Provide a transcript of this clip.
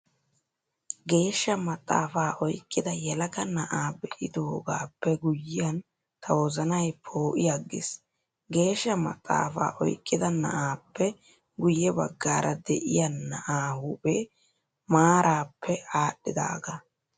Geeshsha maxaafaa oyqqida yelaga na'aa be'idoogaappe guyyiyan ta wozanay poo'i aggiis. Geeshsha maxaafaa oyqqida na'aappe guyye baggaara de'iyaa na'aa huphee maaraappe aadhdhidaagaa.